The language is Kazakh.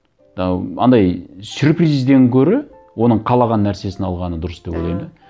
ы андай сюрпризден гөрі оның қалаған нәрсесін алғаны дұрыс деп ойлаймын да